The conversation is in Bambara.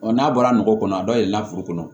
n'a bɔra nɔgɔ kɔnɔ a dayɛlɛla foro kɔnɔ